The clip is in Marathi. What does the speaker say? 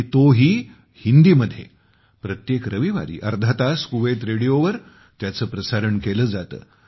आणि तोही हिंदी मध्ये प्रत्येक रविवारी अर्धा तास 'कुवैत रेडिओ'वर त्याचे प्रसारण केले जाते